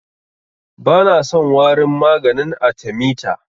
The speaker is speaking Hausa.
Bana son warin maganin arthemeter.